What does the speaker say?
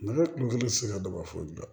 Ne kun tɛ se ka dɔ ka foyi dɔn